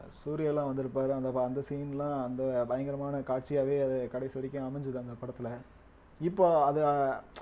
சூர்யா எல்லாம் வந்திருப்பாரு அந்த ப~ அந்த scene லாம் அந்த பயங்கரமான காட்சியாவே அது கடைசி வரைக்கும் அமைஞ்சது அந்த படத்துல இப்ப அத